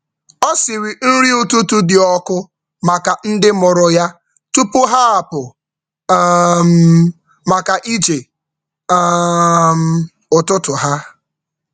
Ọ siri nri ụtụtụ dị ọkụ maka ndị mụrụ ya tupu ha apụ um maka ije um ụtụtụ ha.